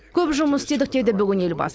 көп жұмыс істедік деді бүгін елбасы